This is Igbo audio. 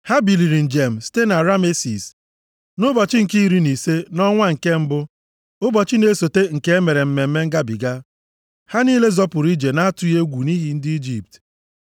Ha biliri njem site na Ramesis, nʼụbọchị nke iri na ise nʼọnwa nke mbụ, ụbọchị na-esota nke e mere Mmemme Ngabiga. Ha niile zọpụrụ ije nʼatụghị egwu nʼihu ndị Ijipt,